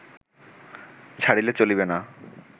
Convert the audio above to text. ছাড়িলে চলিবে না